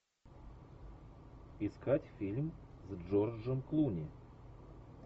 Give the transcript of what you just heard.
искать фильм с джорджем клуни